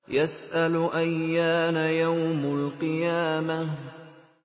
يَسْأَلُ أَيَّانَ يَوْمُ الْقِيَامَةِ